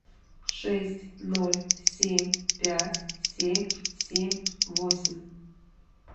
шесть ноль семь пять семь семь восемь